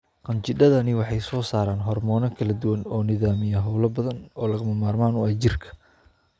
Qanjidhadani waxay soo saaraan hormoono kala duwan oo nidaamiya hawlo badan oo lagama maarmaanka u ah jidhka.